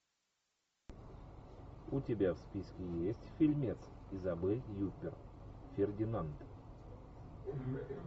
у тебя в списке есть фильмец изабель юппер фердинанд